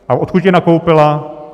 A odkud je nakoupila?